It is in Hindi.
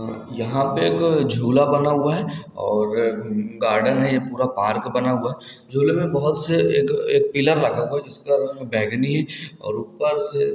यहाँ पे एक झूल बना हुआ है और गार्डन है पूरा पार्क बना हुआ झूले मे बहुत से एक एक पीला लगा हुआ जिसके रंग बेगनी और ऊपर से--